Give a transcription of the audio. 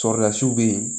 bɛ yen